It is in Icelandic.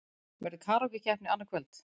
Verður karókí-keppni annað kvöld?